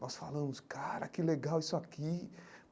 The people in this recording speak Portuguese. Nós falamos, cara, que legal isso aqui.